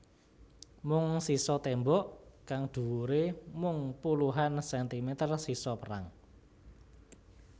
Mung sisa tembok kang dhuwure mung puluhan sentimeter sisa perang